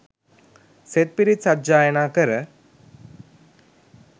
සෙත් පිරිත් සජ්ඣායනා කර